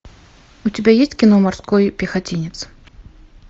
у тебя есть кино морской пехотинец